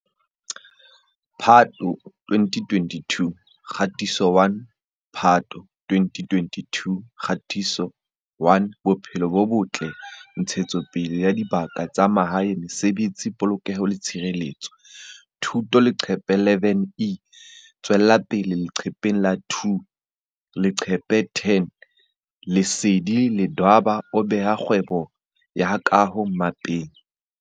Phato 2022 Kgatiso 1 Phato 2022 Kgatiso 1Bophelo bo Botle Ntshetsopele ya Dibaka tsa Mahae Mesebetsi Polokeho le Tshireletso Thuto Leqephe 11E tswella pele leqepheng la 2Leqephe 10Lesedi Ledwaba o beha kgwebo ya kaho mmapeng